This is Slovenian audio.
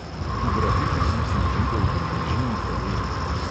V braziliji sem živel v bližini favel.